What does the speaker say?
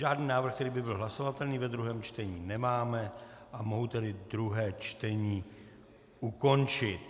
Žádný návrh, který by byl hlasovatelný ve druhém čtení, nemáme, a mohu tedy druhé čtení ukončit.